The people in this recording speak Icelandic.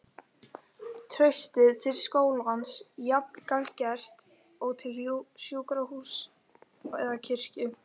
Traustið til skólans jafn gagngert og til sjúkrahúss eða kirkju.